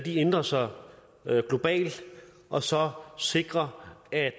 ændrer sig globalt og så sikre at